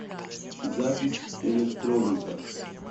запись электроника